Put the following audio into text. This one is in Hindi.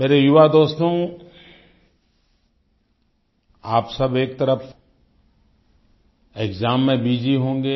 मेरे युवा दोस्तो आप सब एक तरफ़ एक्साम में बसी होंगे